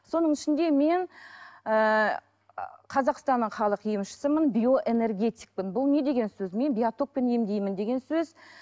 соның ішінде мен ііі қазақстанның халық емшісімін биоэнергетикпін бұл не деген сөз мен биотокпен емдеймін деген сөз